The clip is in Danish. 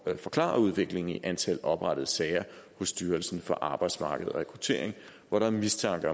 at forklare udviklingen i antallet af oprettede sager hos styrelsen for arbejdsmarked og rekruttering hvor der er mistanke